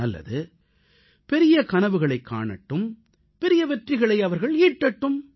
நல்லது பெரிய கனவுகளைக் காணட்டும் பெரிய வெற்றிகளை அவர்கள் ஈட்டட்டும்